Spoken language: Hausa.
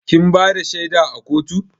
Kin bada shaida a kotu?